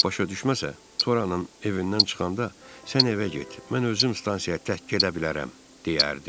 Səhv başa düşməsə, Toranın evindən çıxanda sən evə get, mən özüm stansiyaya tək gedə bilərəm, deyərdi.